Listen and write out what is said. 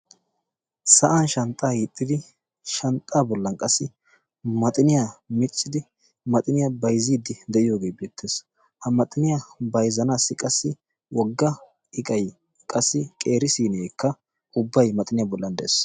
Sa'an shanxxaa hiixxidi shanxxaa bollan qassi maxiniyaa miccidi maxiniyaa baizziiddi de'iyoogee beettees. ha maxiniyaa bayzanaassi qassi wogga iqay qassi qeeri siineekka ubbay maxiniyaa bollan de'ees.